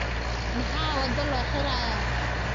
Maxaa waddo loo xirayaa?